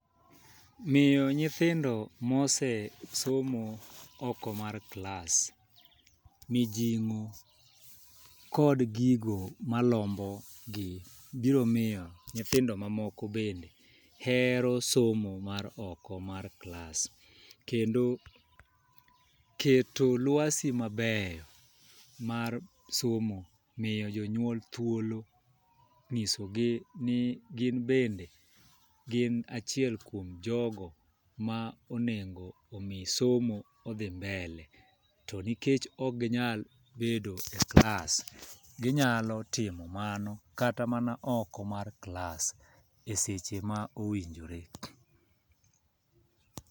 Miyo nyithindo mose somo oko mar klas, mijing'o kod gigo malombo gi. Biro miyo nyithindo ma moko bende hero somo mar oko mar klas. Kendo keto lwasi ma beyo mar somo, miyo jonyuol thuolo ng'isogi ni gin bende, gin achiel kuom jogo ma onego omi somo odhi mbele. To nikech ok ginyal bedo e klas, ginyalo timo mano kata mana oko mar klas e seche ma owinjore.